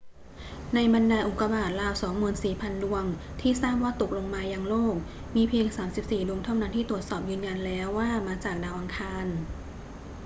ในบรรดาอุกกาบาตราว 24,000 ดวงที่ทราบว่าตกลงมายังโลก มีเพียง 34 ดวงเท่านั้นที่ตรวจสอบยืนยันแล้วว่ามาจากดาวอังคาร